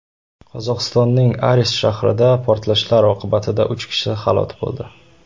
Qozog‘istonning Aris shahrida portlashlar oqibatida uch kishi halok bo‘ldi.